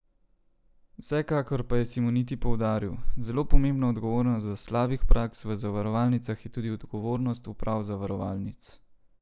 Vsekakor pa je Simoniti poudaril: 'Zelo pomembna odgovornost do slabih praks v zavarovalnicah je tudi odgovornost uprav zavarovalnic.